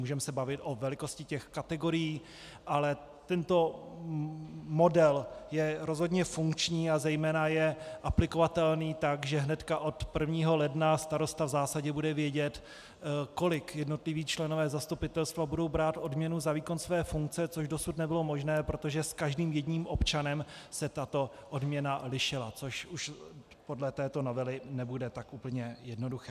Můžeme se bavit o velikosti těch kategorií, ale tento model je rozhodně funkční a zejména je aplikovatelný tak, že hnedka od 1. ledna starosta v zásadě bude vědět, kolik jednotliví členové zastupitelstva budou brát odměnu za výkon své funkce, což dosud nebylo možné, protože s každým jedním občanem se tato odměna lišila, což už podle této novely nebude tak úplně jednoduché.